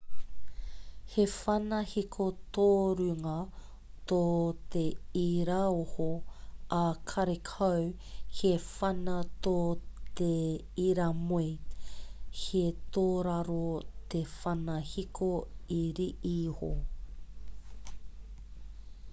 he whana hiko tōrunga tō te iraoho ā karekau he whana tō te iramoe he tōraro te whana hiko iriiho